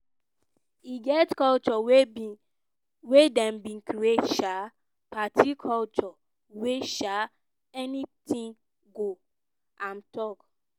e get culture wey dem bin create um party culture wia um anytin go" im tok.